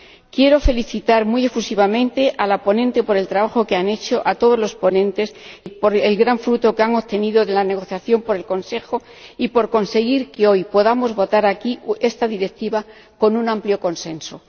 Quiero felicitar muy efusivamente a la ponente por el trabajo que ha hecho, y a todos los ponentes por el gran fruto que han obtenido de la negociación con el Consejo, y por conseguir que hoy podamos votar aquí esta Directiva con un amplio consenso.